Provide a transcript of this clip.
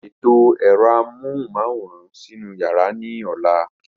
Ṣètò ẹ̀rọ amóhùnmáwòrán sínú yàrá ní ọ̀la.